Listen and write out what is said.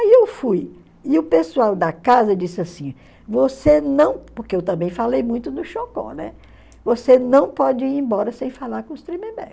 Aí eu fui e o pessoal da casa disse assim, você não, porque eu também falei muito do Chocó, né, você não pode ir embora sem falar com os Tremembé.